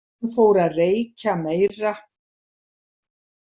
Hann fór að reykja meira.